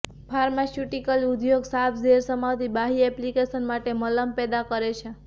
pharmaceutical ઉદ્યોગ સાપ ઝેર સમાવતી બાહ્ય એપ્લિકેશન માટે મલમ પેદા કરે છે